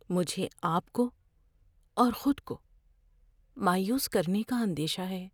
مجھے آپ کو اور خود کو مایوس کرنے کا اندیشہ ہے۔